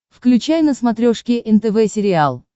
включай на смотрешке нтв сериал